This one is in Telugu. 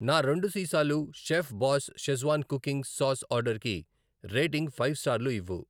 నా రెండు సీసాలు chef boss schezwan cooking sauce ఆర్డరుకి రేటింగ్ ఫైవ్ స్టార్లు ఇవ్వు.